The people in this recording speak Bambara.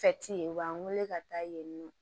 ye u b'an wele ka taa yen nɔ